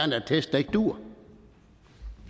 en attest der ikke dur